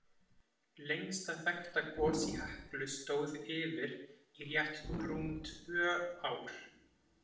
Lengsta þekkta gos í Heklu stóð yfir í rétt rúm tvö ár.